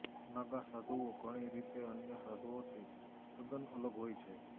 નાગા સાધુઓ ઘણી રીતે અન્ય સાધુઓથી તદ્દન અલગ હોય છે